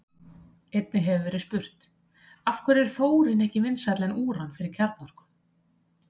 Einnig hefur verið spurt: Af hverju er þórín ekki vinsælla en úran fyrir kjarnorku?